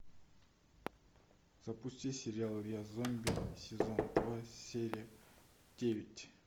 запусти сериал я зомби сезон два серия девять